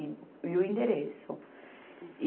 E, e o endereço. E